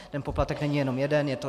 Ten poplatek není jenom jeden.